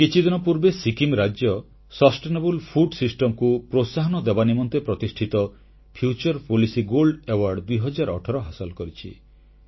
କିଛିଦିନ ପୂର୍ବେ ସିକ୍କିମ ରାଜ୍ୟ ପୋଷଣୀୟ ଖାଦ୍ୟ ବ୍ୟବସ୍ଥାକୁ ପ୍ରୋତ୍ସାହନ ଦେବା ନିମନ୍ତେ ପ୍ରତିଷ୍ଠିତ ଫ୍ୟୁଚର ପୋଲିସି ଗୋଲ୍ଡ Award2018 ହାସଲ କରିଛି